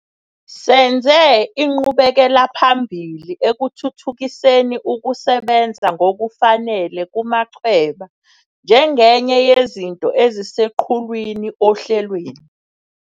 Senze inqubekelaphambili ekuthuthukiseni ukusebenza ngokufanele kumachweba njengenye yezinto eziseqhulwini ohlelweni.